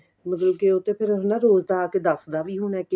ਮਤਲਬ ਕੀ ਉਹ ਤਾਂ ਫੇਰ ਹਨਾ ਰੋਜ ਤਾਂ ਆ ਕੇ ਦਸਦਾ ਵੀ ਹੁਣ ਏ ਕੀ